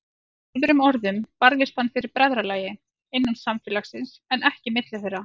Með öðrum orðum barðist hann fyrir bræðralagi, innan samfélags, en ekki milli þeirra.